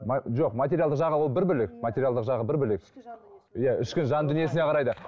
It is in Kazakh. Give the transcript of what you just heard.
жоқ материалдық жағы ол бір бөлек материалдық жағы бір бөлек ішкі жан дүниесі иә ішкі жан дүниесіне қарайды